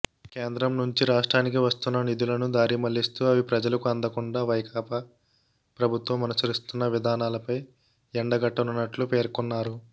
కేంద్రం నుంచి రాష్ట్రానికి వస్తున్న నిధులను దారిమళ్లిస్తూ అవి ప్రజలకు అందకుండా వైకాపా ప్రభుత్వం అనుసరిస్తున్న విధానాలపై ఎండగట్టనున్నట్లు పేర్కొన్నారు